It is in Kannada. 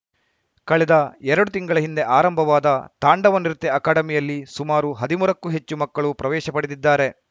ಕಳೆದ ಎರಡು ತಿಂಗಳ ಹಿಂದೆ ಆರಂಭವಾದ ತಾಂಡವ ನೃತ್ಯ ಅಕಾಡೆಮಿಯಲ್ಲಿ ಸುಮಾರು ಹದಿಮೂರಕ್ಕೂ ಹೆಚ್ಚು ಮಕ್ಕಳು ಪ್ರವೇಶ ಪಡೆದಿದ್ದಾರೆ